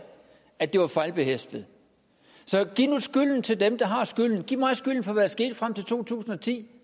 at det var fejlbehæftet så giv nu skylden til dem der har skylden giv mig skylden for hvad der skete frem til to tusind og ti